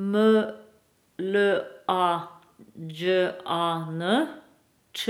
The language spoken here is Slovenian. M L A Đ A N, Č